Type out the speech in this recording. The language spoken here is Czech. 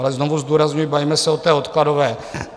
Ale znovu zdůrazňuji, bavíme se o té odkladové.